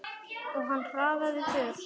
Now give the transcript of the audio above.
Og hann hraðaði för.